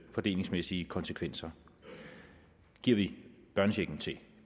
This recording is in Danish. fordelingsmæssige konsekvenser giver vi børnechecken til